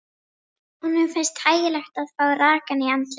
Honum finnst þægilegt að fá rakann í andlitið.